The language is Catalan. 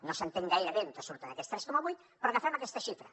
no s’entén gaire bé d’on surten aquests tres coma vuit però agafem aquesta xifra